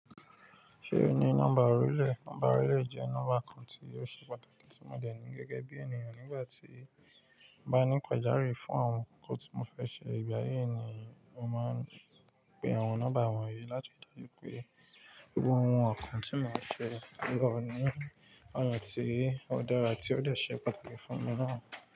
Ṣé ò ní nọ́mbà orílẹ̀? Nọ́mbà orílẹ̀ jẹ́ nọ́mbà ọkàn tí yóò ṣe pàtàkì tí mo dènì gẹ́gẹ́ bí ènìyàn nígbà tí mo bá ní ìpàdé àrí fún àwọn nǹkan tí mo fẹ́ ṣe. Ìgbà yí ni mo máa ń pe àwọn nọ́mbà wọ̀nyí láti rí i pé gbogbo àwọn nǹkan tí màá fẹ́ lọ ní àyè tí ó dára tí ó de ṣe pàtàkì fún mi náà.